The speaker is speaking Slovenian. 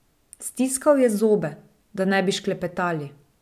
Stiskal je zobe, da ne bi šklepetali.